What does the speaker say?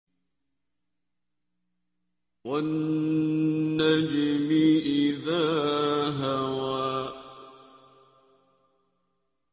وَالنَّجْمِ إِذَا هَوَىٰ